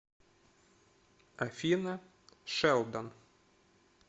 афина шелдон